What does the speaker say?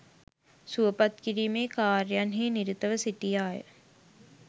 සුවපත් කිරීමේ කාර්යන් හි නිරතව සිටියාය.